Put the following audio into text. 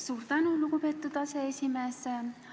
Suur tänu, lugupeetud aseesimees!